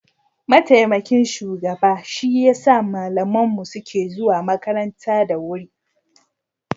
mataimakin shugaba shi ya sa malaman mu suke zuwa makaranta da wuri